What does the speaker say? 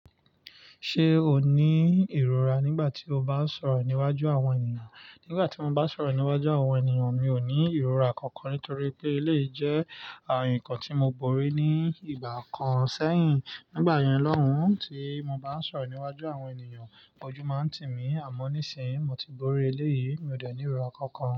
Ṣé o ní ìrora nígbà tí o bá ń sọ̀rọ̀ níwájú àwọn ènìyàn? Nígbà tí mo bá ń sọ̀rọ̀ níwájú àwọn ènìyàn mi ò ní ìrora kankan nítorí pé eléyí jẹ́ àwọn nǹkan tí mo borí ní ìgbà kan sẹ́yìn. Nígbà yẹn lọ́hùn tí mo bá ń sọ̀rọ̀ níwájú àwọn ènìyàn, ójú máa ń tì mí, àmọ́ nísìínyi mo ti borí eleyí, mi ò ní ìrora kankan.